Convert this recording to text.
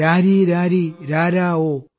രാരീ രാരീ രാരാ ഓ